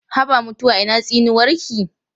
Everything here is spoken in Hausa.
Haba mutuwa ina tsinuwarki?